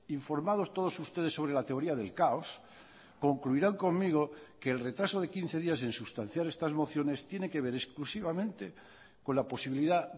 informados todos ustedes sobre la teoría del caos concluirán conmigo que el retraso de quince días en sustanciar estas mociones tiene que ver exclusivamente con la posibilidad